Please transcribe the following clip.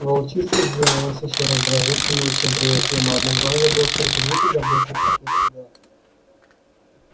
волчица сделалась ещё раздражительнее чем прежде но одноглазый был терпелив и заботлив как никогда